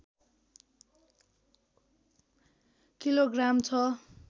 kilogram छ